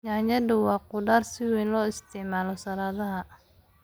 Yaanyada waa khudrad si weyn loo isticmaalo saladhaha.